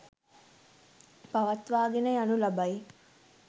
පවත්වාගෙන යනු ලබයි.